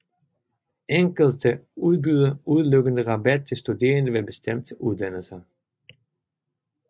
Enkelte udbyder udelukkende rabat til studerende ved bestemte uddannelser